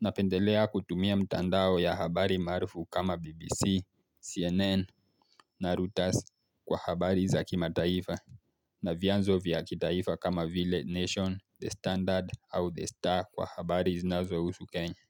Napendelea kutumia mtandao ya habari maarufu kama BBC, CNN, Narutas kwa habari za kima taifa na vianzo vya kitaifa kama vile nation, the standard au the star kwa habari zinazo husu kenya.